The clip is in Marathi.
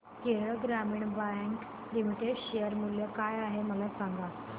केरळ ग्रामीण बँक लिमिटेड शेअर मूल्य काय आहे मला सांगा